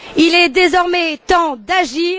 Il est désormais temps d'agir.